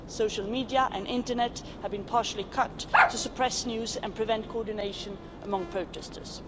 Social media and the internet have been partially cut to suppress news and prevent coordination among protesters.